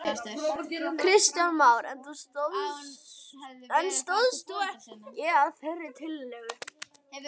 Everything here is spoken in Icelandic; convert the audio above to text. Kristján Már: En stóðst þú ekki að þeirri tillögu?